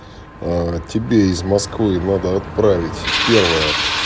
а тебе из москвы надо отправить первое